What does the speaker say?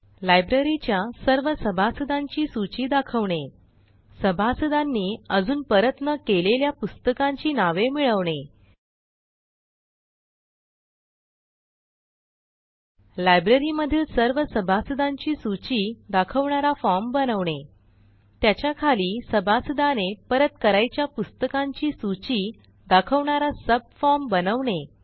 लायब्ररीच्या सर्व सभासदांची सूची दाखवणे सभासदांनी अजून परत न केलेल्या पुस्तकांची नावे मिळवणे लायब्ररीमधील सर्व सभासदांची सूची दाखवणारा फॉर्म बनवणे त्याच्या खाली सभासदाने परत करायच्या पुस्तकांची सूची दाखवणारा सबफॉर्म बनवणे